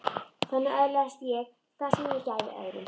Þannig öðlaðist ég það sem ég gæfi öðrum.